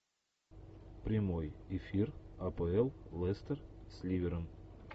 прямой эфир апл лестер с ливером